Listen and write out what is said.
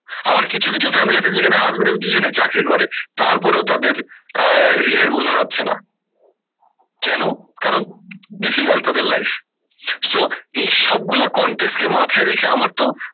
আবার কিছু কিছু family আছে যেখানে husband wife দুজনেই চাকরি করে তারপরে ও তাদের আহ ঋণের বোঝা যাচ্ছে না কেন কারণ difficult তাদের life so এই সব গুলা contest কে মাথায় রেখে আমার তো